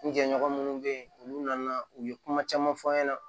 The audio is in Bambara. N jɛɲɔgɔn munnu be yen olu nana u ye kuma caman fɔ n ɲɛna